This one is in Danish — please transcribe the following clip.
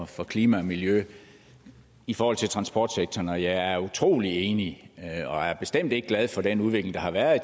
for klima og miljø i forhold til transportsektoren jeg er utrolig enig og er bestemt ikke glad for den udvikling der har været i